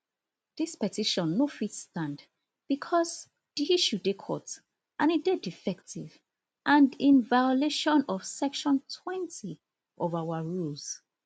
dis petition no fit stand becos di issue dey court and e dey defective and in violation of section twenty of our rules